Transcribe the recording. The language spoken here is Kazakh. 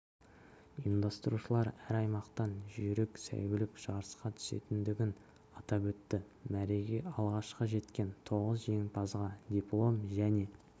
ұйымдастырушылар әр аймақтан жүйрік сәйгүлік жарысқа түсетіндігін атап өтті мәреге алғашқы жеткен тоғыз жеңімпазға диплом және